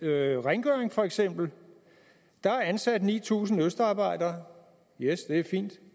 rengøring for eksempel der er ansat ni tusind østarbejdere yes det er fint og